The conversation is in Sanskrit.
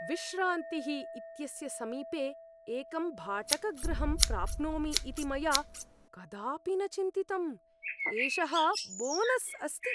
विश्रान्तिः इत्यस्य समीपे एकं भाटकगृहं प्राप्नोमि इति मया कदापि न चिन्तितम्, एषः बोनस् अस्ति!